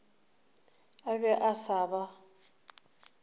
a be a sa ba